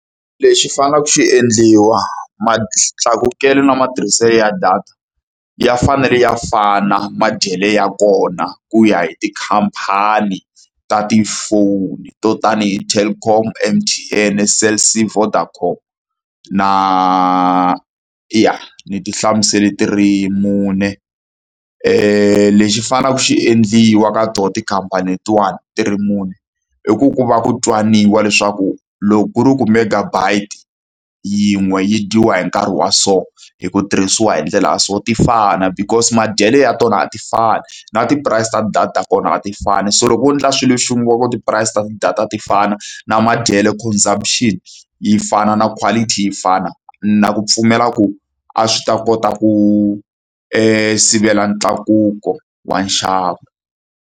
Lexi faneleke xi endliwa, matlakukelo na matirhiselo ya data ya fanele ya fana madyele ya kona ku ya hi tikhampani ta ti-phone to tanihi Telkom, M_T_N, Cell C Vodacom na eya ni ti hlamusele ti ri mune. Lexi faneleke xi endliwa ka tona tikhampani letin'wani ti ri mune, i ku ku va ku twananiwa leswaku loko ku ri ku megabyte yin'we yi dyiwa hi nkarhi wa so, hi ku tirhisiwa hi ndlela ya so, ti fana. Because madyele ya tona a ti fani, na ti-price ta ti-data ta tona a ti fani. So loko vo endla swilo xin'we va ku ti-price ta ti-data ti fana, na madyele consumption yi fana, na quality yi fana, ni na ku pfumela ku a swi ta kota ku sivela ntlakuko wa nxavo.